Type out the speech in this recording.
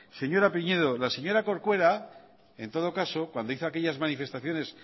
señora pinedo la señora corcuera en todo caso cuando hizo aquellas manifestaciones